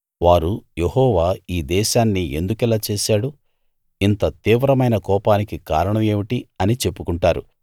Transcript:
వారు యెహోవా ఈ దేశాన్ని ఎందుకిలా చేశాడు ఇంత తీవ్రమైన కోపానికి కారణం ఏమిటి అని చెప్పుకుంటారు